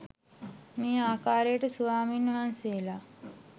මේ ආකාරයට ස්වාමින් වහන්සේලා